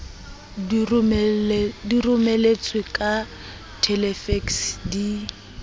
di romeletswe ka thelefekse di